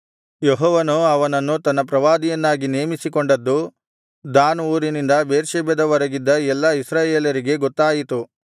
ಯೆಹೋವನು ಅವನನ್ನು ತನ್ನ ಪ್ರವಾದಿಯನ್ನಾಗಿ ನೇಮಿಸಿಕೊಂಡದ್ದು ದಾನ್ ಊರಿನಿಂದ ಬೇರ್ಷೆಬದವರೆಗಿದ್ದ ಎಲ್ಲಾ ಇಸ್ರಾಯೇಲರಿಗೆ ಗೊತ್ತಾಯಿತು